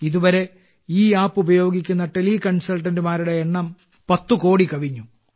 ഇതുവരെ ഈ ആപ്പ് ഉപയോഗിക്കുന്ന ടെലി കൺസൾട്ടന്റുമാരുടെ എണ്ണം 10 കോടി കവിഞ്ഞു